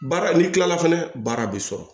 Baara n'i kilala fɛnɛ baara bɛ sɔrɔ